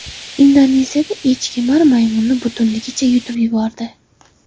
Indoneziyada echkemar maymunni butunligicha yutib yubordi .